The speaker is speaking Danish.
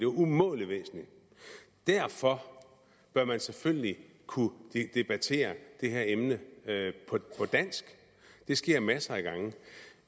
umådelig væsentligt derfor bør man selvfølgelig kunne debattere det her emne på dansk det sker masser af gange